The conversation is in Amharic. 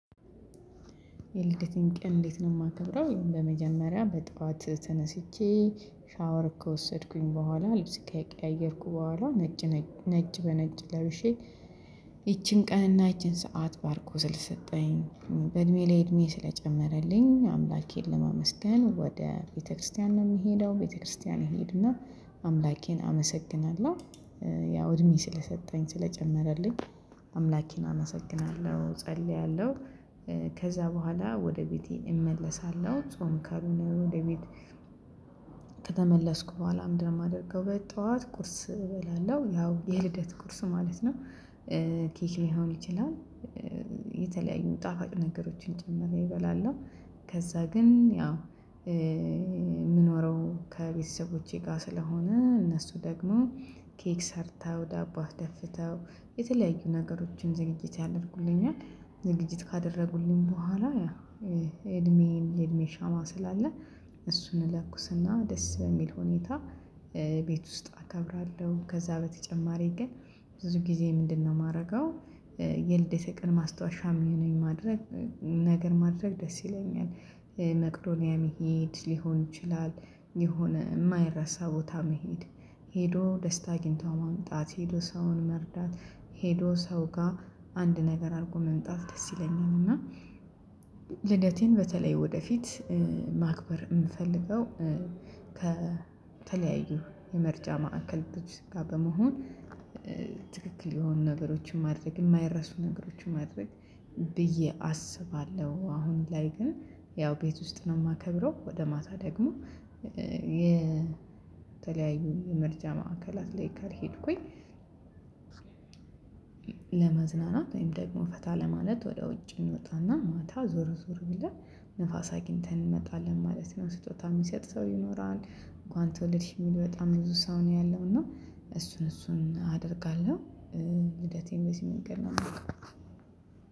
የልደቴን ቀን እንዴት ነው የማከብረው በመጀመሪያ በጧት ተነስቼ ሻወር ከወሰድኩኝ በኋላ ልብስ ከቀያየርኩ በኋላ ነጭ ነጭ በነጭ ለብሼ ይቺን ቀንና ይቺን ሰዓት ባርኮ ስለሰጠኝ። በእድሜ ላይ እድሜ ስለጨመረልኝ አምላኬን ለማመስገን ወደ ቤተክርስቲያን ነው የምሄደው ቤተክርስቲያን ይሄድና። አምላኬን አመሰግናለሁ ያው እድሜ ስለሰጠኝ ስለጨመረልኝ አምላኬን አመሰግናለሁ ጸልያለሁ። ከዛ በኋላ ወደ ቤቴ እመለሳለሁ። ጾም ካልሆነ ወደ ቤት ከተመለስኩ በኋላ ምንድነው የማደርገው? በጠዋት ቁርስ እበላለሁ ያው የልደት ቁርስ ማለት ነው። ኬክ ሊሆን ይችላል። የተለያዩ ጣፋጭ ነገሮችን ጨምሬ እበላለው ነው። ከዛ ግን ያው የምኖረው ከቤተሰቦቼ ጋር ስለሆነ እነሱ ደግሞ ኬክ ሰርተው ዳቦ አስደፍተው የተለያዩ ነገሮችን ዝግጅት ያደርጉልኛል። ዝግጅት ካደረጉልኝ በኋላ ያ እድሜዬን የእድሜ ሻማ ስላለ እሱን እለኩስና ደስ በሚል ሁኔታ ቤት ውስጥ አከብራለሁ። ከዛ በተጨማሪ ግን ብዙ ጊዜ ምንድነው የማደርገው? የልደቴ ቀን ማስታወሻም የሚሆነኝ ማድረግ ነገር ማድረግ ደስ ይለኛል። መቅዶንያ መሄድ ሊሆን ይችላል። የሆነ የማይረሳ ቦታ መሄድ ሄዶ ደስታ አግኝቶ ማምጣት ሄዶ ሰውን መርዳት ሄዶ ሰው ጋር አንድ ነገር አድርጎ መምጣት ደስ ይለኛል። እና ልደቴን በተለይ ወደፊት ማክበር እምፈልገው ከተለያዩ የመርጃ ማዕከል ድርጅቶች ጋር በመሆን ትክክል የሆኑ ነገሮችን ማድረግ የማይረሱ ነገሮችን ማድረግ ብዬ አስባለሁ። አሁን ላይ ግን ያው ቤት ውስጥ ነው የማከብረው። ወደ ማታ ደግሞ የተለያዩ ምርጫ ማዕከላት ላይ ካልሄድኩኝ። ለመዝናናት ወይም ደግሞ ፈታ ለማለት ወደ ውጭ እንወጣና ማታ ዞሮ ዞር ብለን ንፋስ አግኝተን እንመጣለን ማለት ነው። ስጦታ የሚሰጥ ሰው ይኖራል እንኳን ተወልድሽ የሚል በጣም ብዙ ሰው ነው ያለው። እና እሱን እሱን አደርጋለሁ። ልደቴን በዚህ መንገድ ነው የምለው።